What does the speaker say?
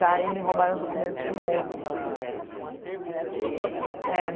Daí me roubaram os documentos de novo. Argentinos? É